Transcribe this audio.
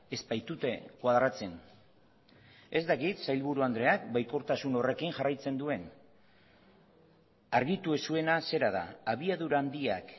ez baitute koadratzen ez dakit sailburu andreak baikortasun horrekin jarraitzen duen argitu ez zuena zera da abiadura handiak